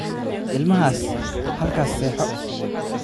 Ilmahaas halkaas seexo